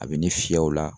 A bɛ ni fiyɛw la